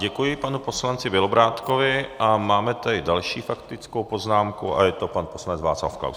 Děkuji panu poslanci Bělobrádkovi a máme tady další faktickou poznámku a je to pan poslanec Václav Klaus.